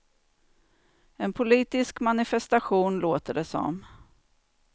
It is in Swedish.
En politisk manifestation, låter det som.